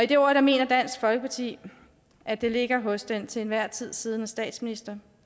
det ord mener dansk folkeparti at det ligger hos den til enhver tid siddende statsminister